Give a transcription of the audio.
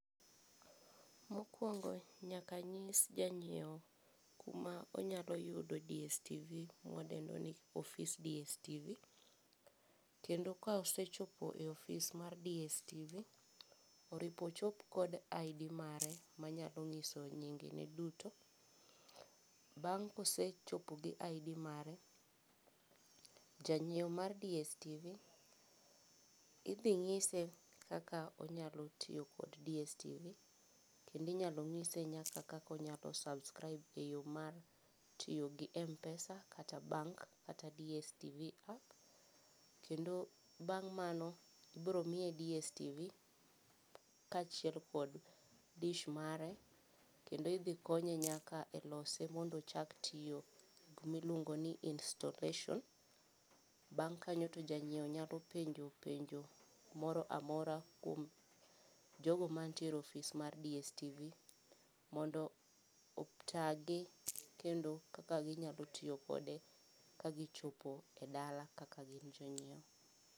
Mokwongo nyaka anyis janyiewo kuma onyayudo dstv mwadendo ni office dstv kendo kosechopo e office mar dstv oripo ochop kod ID mare manyalo nyiso nyingene duto. Bang' kosechopo gi id mare janyieo mar dstv idhi nyise kaka onyalotiyo kod dstv kendo inyanyise kaka onyalo subsribe kotiyo kod mpesa kata bank kata dstv app kendo bang mano ibiro miye dstv kaachiel kod dish mare kendo idhi konye nyaka lose mondo ochak tiyo miluongo ni installation bang' kanyo to janyieo nyalo penjo penjo moramora kuom jogo mantiere office mar dstv mondo otagi kendo kaka ginyalotiyo kode ka gichopo e dala kaka gin jonyiewo